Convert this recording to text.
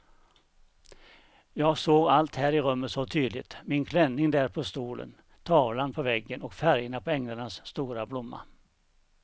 Jag såg allt här i rummet så tydligt; min klänning där på stolen, tavlan på väggen och färgerna på änglarnas stora blomma.